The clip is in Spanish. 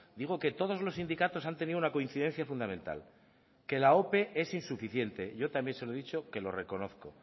digo que todos los sindicatos han tenido una coincidencia fundamental que la ope es insuficiente yo también se lo he dicho que lo reconozco